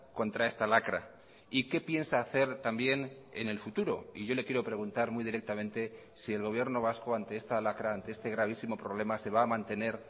contra esta lacra y qué piensa hacer también en el futuro y yo le quiero preguntar muy directamente si el gobierno vasco ante esta lacra ante este gravísimo problema se va a mantener